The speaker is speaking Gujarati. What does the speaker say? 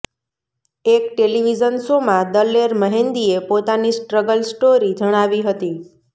એક ટેલિવિઝન શોમાં દલેર મહેંદીએ પોતાની સ્ટ્રગલ સ્ટોરી જણાવી હતી